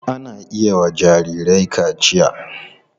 Ana iya yiwa jarirai kaciya.